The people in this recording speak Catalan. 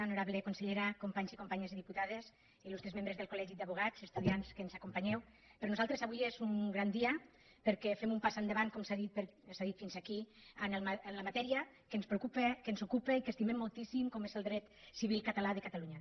honorable consellera companys i companyes diputades il·lustres membres del col·legi d’advocats estudiants que ens acompanyeu per nosaltres avui és un gran dia perquè fem un pas endavant com s’ha dit fins aquí en la matèria que ens preocupa que ens ocupa i que estimem moltíssim com és el dret civil català de catalunya